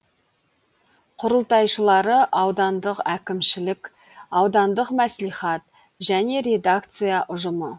құрылтайшылары аудандық әкімшілік аудандық мәслихат және редакция ұжымы